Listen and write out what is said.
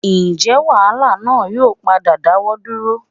Ǹjẹ́ wàhálà náà yóò padà dáwọ́ dúró?